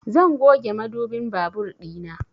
Zan goge mudubin babur ɗina